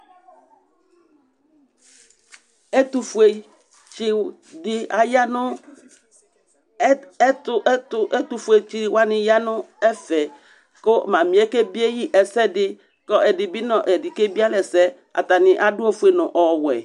Ɛtʋfuetsi di aya nʋ, ɛtʋ, ɛtʋ, ɛtʋfuetsi wani ya nʋ ɛfɛ kʋ Mami yɛ kebie yi ɛsɛdi, kʋ ɛdi bi nʋ ɛdi kebie alɛ ɛsɛ Atani adʋ ofue nʋ ɔwɛ